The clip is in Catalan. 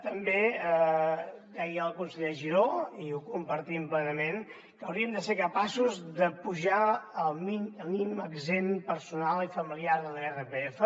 també deia el conseller giró i ho compartim plenament que hauríem de ser capaços d’apujar el mínim exempt personal i familiar de l’irpf